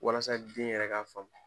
Walasa den yɛrɛ ka faamu.